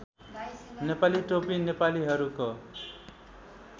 नेपाली टोपी नेपालीहरूको